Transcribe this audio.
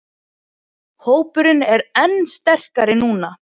Hópurinn er enn sterkari núna